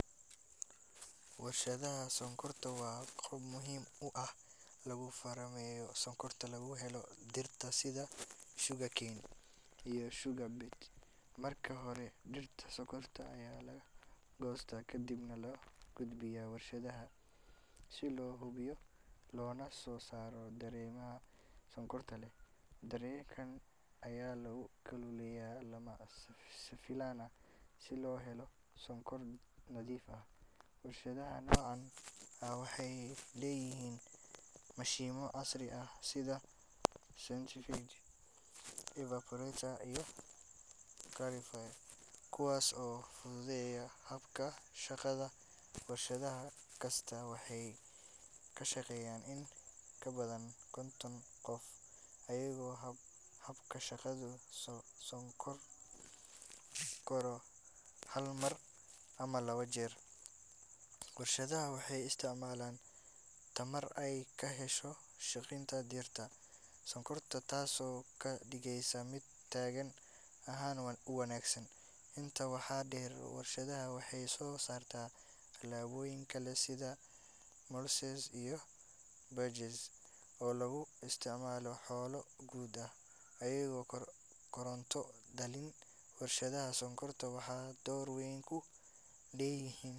Warshadaha sokorta waa goob muhiim ah, lagu farameeyo sokorta lagu helo dirta sida sugarcane ,marka hore dirta sokorta ayaa laga goosta kadibna loo gudbiya warshadaha si loo hubiyo loona soo saaro dareemaha sokorta leh, dareenka ayaa lagu kululeya si lama filan ah si loo helo sokor nadiif ah, warshadaha noocan waxeey leeyihiin mashiimo casri sida evaporator ,kuwaas oo fududeya habka shaqada, warshadaha kasta waxeey kashaqeeyan in ka badan konton qof ayago habka shaqada soo koro hal mar ama laba jeer, warshadaha waxeey isticmaalaan tamar aay kahesho shaqinta dirta sokorta taas oo kadigeysa mid taagan ahaan uwanagsan, inta waxa deer, warshada waxeey soo saarta tilaboyin kale, oo lagu isticmaalo xoolo oo koronta dalin, waxeey door weyn ku leeyihiin.